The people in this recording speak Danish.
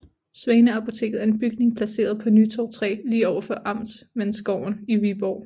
Svaneapoteket er en bygning placeret på Nytorv 3 lige overfor Amtmandsgården i Viborg